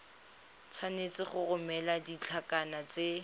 tshwanetse go romela ditlankana tse